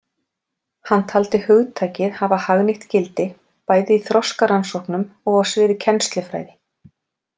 Hann taldi hugtakið hafa hagnýtt gildi bæði í þroskarannsóknum og á sviði kennslufræði.